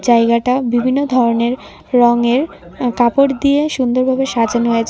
জায়গাটা বিভিন্ন ধরনের রঙের আ কাপড় দিয়ে সুন্দরভাবে সাজানো হয়েছে।